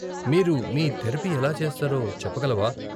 మీరు మీ థెరపీ ఎలా చేస్తారో చెప్పగలవా?